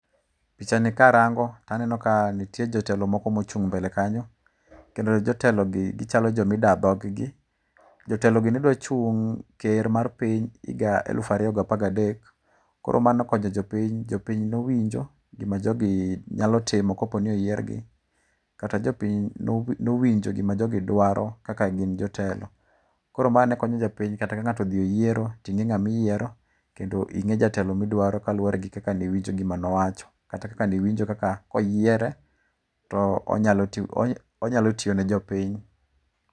Pichani karango, to aneno ka nitie jotelo moko mochung' mbele kanyo. Kendo jotelogi gichalo joma idaa dhog gi. Jotelogi ne dwa chung' ker mar piny higa elufu ariyo gapar gadek. Koro mano okonyo jopiny. Jopiny nowinjo gima jogi nyalo timo kopo ni oyiergi. Kata jopiny nowinjo gima jogi dwaro kaka gin jotelo. Koro ma nekonyo jopiny kata ka ng'ato odhi e yiero to ing'e jatelo miyiero kendo ing'e jatelo midwaro kaluwore gi kaka niwinjo gima nowacho. Kata kaka niwinjo kaka koyiere to onyalo tiyo ne jopiny.